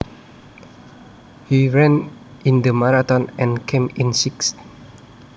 He ran in the marathon and came in sixth